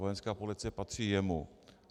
Vojenská policie patří jemu.